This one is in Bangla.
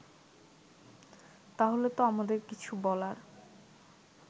তাহলে তো আমাদের কিছু বলার